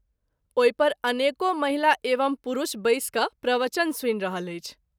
ओहि पर अनेको महिला एवं पुरूष बैस क’ प्रवचन सुनि रहल अछि।